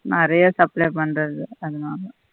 நெறைய supply பண்றது அதனால